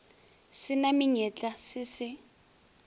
se na menyetla se se